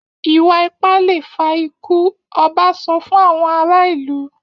Ìwà-ipá le fa ikú! Ọba sọ fún àwọn ará ìlú.